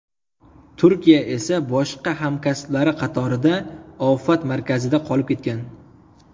Turiya esa boshqa hamkasblari qatorida ofat markazida qolib ketgan.